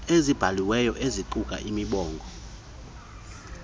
azibhalileyo eziquka imibongo